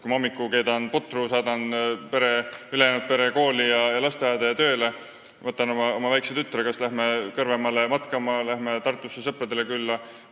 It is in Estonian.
Kui ma hommikul olen pudru ära keetnud, ülejäänud pere kooli, lasteaeda ja tööle saatnud, võtan oma väikse tütre ja me läheme kas Kõrvemaale matkama või Tartusse sõpradele külla.